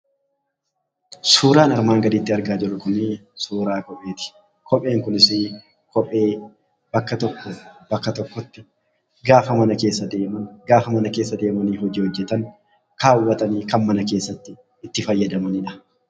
Suuraan armaan gaditti argaa jirru kun suuraa kopheeti. Kopheen kunis bakka tokkoo bakka tokkotti mana keessa deemanii hojii hojjatan kaawwatanii kan mana keessatti itti fayyadamaniidha.